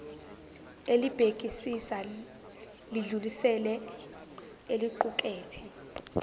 elibhekisisa lidlulisele eliqukethe